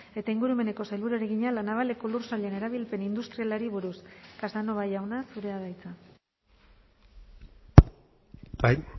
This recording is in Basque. eta ingurumeneko sailburuari egina la navaleko lur sailen erabilpen industrialari buruz casanova jauna zurea da hitza bai